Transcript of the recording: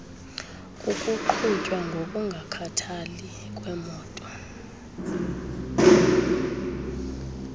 kukuqhutywa ngokungakhathali kwemoto